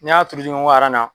N'i y'a tuuru ɲɔgɔn kɔ aran na